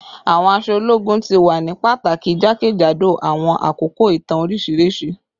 Awọn aṣọ ologun ti wa ni pataki jakejado awọn akoko itan oriṣiriṣi